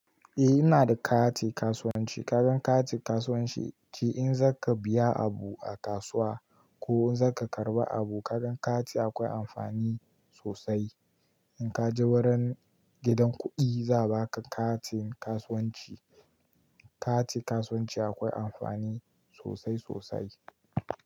Eh ina da kati kasuwanci. Kaga kati kasuwanci, shi in za ka biya abu a kasuwa ko in za ka karɓi abu, kaga kati akwai amfani sosai. In ka je wurin gidan kuɗi za a baka kati kasuwanci. Kati kasuwanci akwai amfani sosai sosai.